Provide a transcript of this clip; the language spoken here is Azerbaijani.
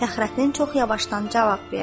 Fəxrəddin çox yavaşdan cavab verdi.